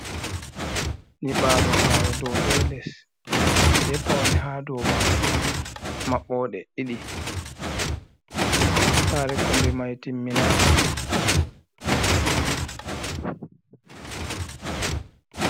Nyibalo sare dow be les be pawne ha dow majum, maɓɓode ɗiɗi, sare kombe mai timinaka.